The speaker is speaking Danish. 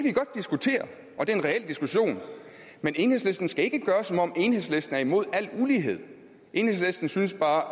er en reel diskussion men enhedslisten skal ikke lade som om enhedslisten er imod al ulighed enhedslisten synes bare